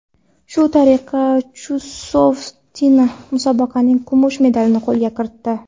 Shu tariqa Chusovitina musobaqaning kumush medalini qo‘lga kiritdi.